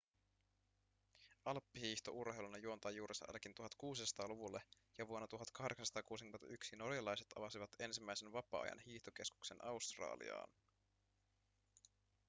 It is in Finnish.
alppihiihto urheiluna juontaa juurensa ainakin 1600-luvulle ja vuonna 1861 norjalaiset avasivat ensimmäisen vapaa-ajan hiihtokeskuksen australiaan